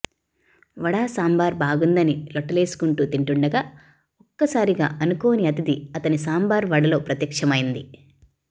వడ సాంబార్ బాగుందని లొట్టలేసుకుంటూ తింటుండగా ఒక్కసారిగా అనుకోని అతిథి అతని సాంబార్ వడలో ప్రత్యక్షమైంది